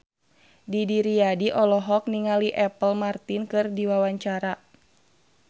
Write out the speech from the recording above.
Didi Riyadi olohok ningali Apple Martin keur diwawancara